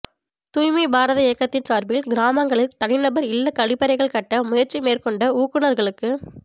தூய்மை பாரத இயக்கத்தின் சாா்பில் கிராமங்களில் தனிநபா் இல்லக் கழிப்பறைகள் கட்ட முயற்சி மேற்கொண்ட ஊக்குநா்களுக்கு